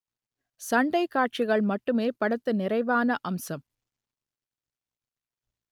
சண்டை காட்சிகள் மட்டுமே படத்தின் நிறைவான அம்சம்